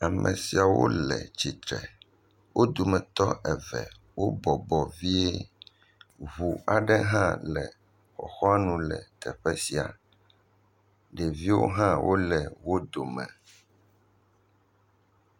Ame siawo le tsi tre. Wo dometɔ eve wo bɔbɔ vie. Ŋu aɖewo hã le xɔxɔanu le teƒe sia. Ɖeviwo hã wole wo dome